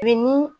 Bi ni